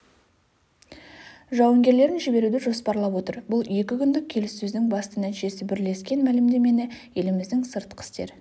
жауынгерлерін жіберуді жоспарлап отыр бұл екі күндік келіссөздің басты нәтижесі бірлескен мәлімдемені еліміздің сыртқы істер